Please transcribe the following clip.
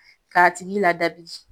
Ka tigi lada bi.